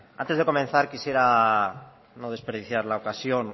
antes de comenzar quisiera no desperdiciar la ocasión